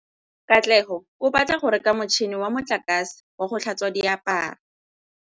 Katlego o batla go reka motšhine wa motlakase wa go tlhatswa diaparo.